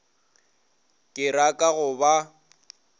ke ra ka go ba